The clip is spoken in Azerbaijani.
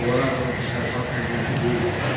Koloradonun təsərrüfat əhəmiyyəti böyükdür.